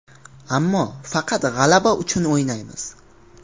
Ammo faqat g‘alaba uchun o‘ynaymiz.